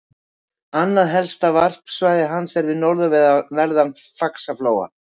Annað helsta varpsvæði hans er við norðanverðan Faxaflóa.